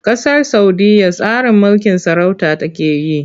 Ƙasar Saudiyya tsarin mulkin sarauta take yi.